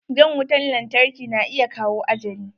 Jan wutan lantarki na iya kawo ajali.